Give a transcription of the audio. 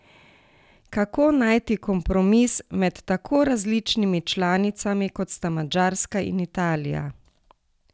Kako najti kompromis med tako različnimi članicami, kot sta Madžarska in Italija?